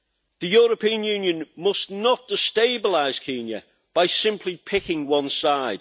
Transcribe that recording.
The European Union must not destabilise Kenya by simply picking one side.